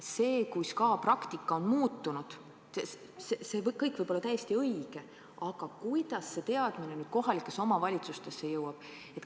See, kus praktika on muutunud, see kõik võib olla täiesti õige – aga kuidas see teadmine nüüd kohalikesse omavalitsustesse jõuab?